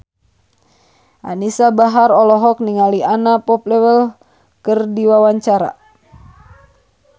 Anisa Bahar olohok ningali Anna Popplewell keur diwawancara